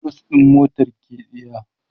clutch ɗin motar ke tsiya